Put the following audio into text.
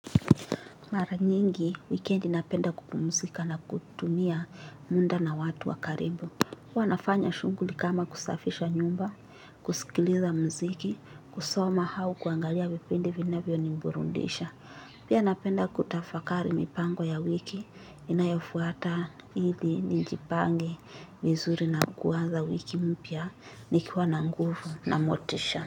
Mara nyingi, wikendi napenda kupumzika na kutumia muda na watu wa karibu. Huwa nafanya shughuli kama kusafisha nyumba, kusikiliza muziki, kusoma au kuangalia vipindi vinavyoniburudisha. Pia napenda kutafakari mipango ya wiki, inayofuata hili nijipange, vizuri na kuwaza wiki mpya, nikiwa na nguvu na motisha.